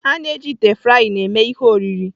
A na-eji ite frying eme ihe oriri.